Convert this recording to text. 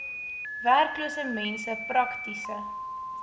werklose mense praktiese